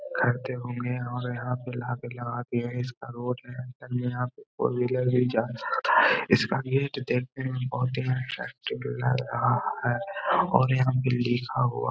करते होंगे और यहाँ पे लाके लगा दिए है। इस यहाँ पे और फोर व्हीलर भी जा सकता है। इसका लग रहा है और यहाँ भी लिखा हुआ --